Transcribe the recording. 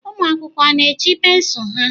Ụmụ akwụkwọ a na-eji pensụl ha?